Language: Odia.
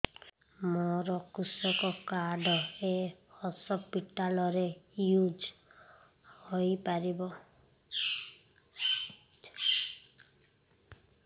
ମୋର କୃଷକ କାର୍ଡ ଏ ହସପିଟାଲ ରେ ୟୁଜ଼ ହୋଇପାରିବ